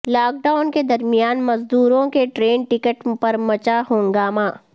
lock down کے درمیان مزدوروں کے ٹرین ٹکٹ پرمچا ہنگامہ